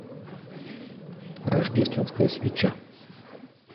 рождественская свеча